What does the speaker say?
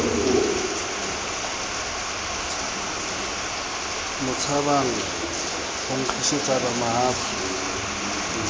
mo tshabang ho nkgisetsana mahafi